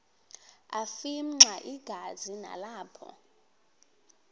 afimxa igazi nalapho